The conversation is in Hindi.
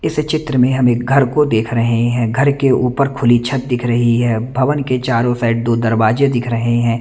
इस चित्र में हम एक घर को देख रहे हैं घर के ऊपर खुली छत दिख रही है भवन के चारो साइड दो दरवाजे दिख रहे हैं।